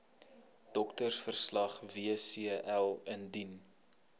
doktersverslag wcl indien